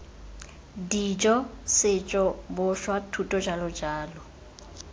dijo setso boswa thuto jj